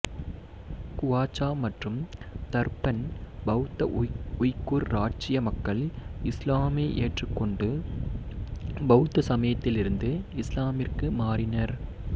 Qocho மற்றும் Turpan பௌத்த Uyghur இராச்சிய மக்கள் இசுலாமை ஏற்றுக்கொண்டு பௌத்த சமயத்திலிருந்து இசுலாமிற்கு மாறினர்